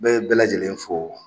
N bɛ bɛɛ lajɛlen fo.